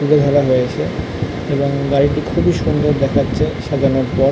হয়েছে এবং বাড়িটি খুব সুন্দর দেখাচ্ছে সাজানোর পর।